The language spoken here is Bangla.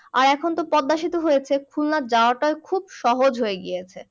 আর এখন তো পদ্মা সেতু হয়েছে খুলনা যাওয়াটা খুব সহজ হয়ে গিয়েছে।